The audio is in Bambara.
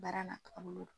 Baara n'a taabolo don